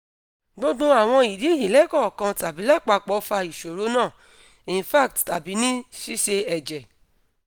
gbogbo awon idi yi lekankan tabi lapapo fa isoro na infarct tabi ni sise eje